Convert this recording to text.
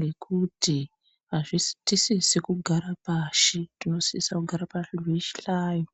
nekuti atisisi kugara pashi, tinosisa kugara pazvihlayo.